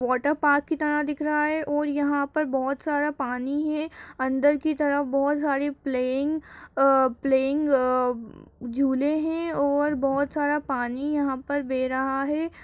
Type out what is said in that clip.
Water park की तरह दिख रहा है और यहाँ पर बहुत सारा पानी है अंदर की तरफ बहुत सारी प्लेईंग अ प्लेईंग अ झूले हैं और बहुत सारा पानी यहाँ पर बह रहा है।